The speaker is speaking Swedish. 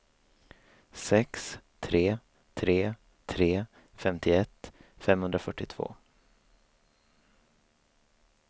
sex tre tre tre femtioett femhundrafyrtiotvå